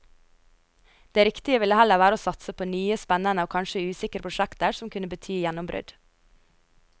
Det riktige ville heller være å satse på nye, spennende og kanskje usikre prosjekter som kunne bety gjennombrudd.